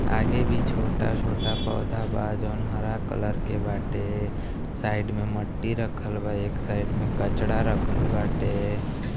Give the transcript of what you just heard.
आगे भी छोटा छोटा पौधा बा जोन हरा कलर के बाटे। साइड में मट्टी रखल बा एक साइड में कचड़ा रखल बाटे। .